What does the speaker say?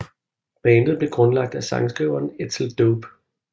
Bandet blev grundlagt af sangskriveren Edsel Dope